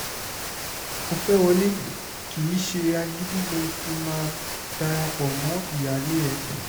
ó fẹ́ẹ́ wọlé kì í ṣe agídí ló fi máa dara pọ̀ mọ́ ìyáálé ẹ̀